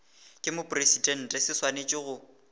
ke mopresidente se swanetše go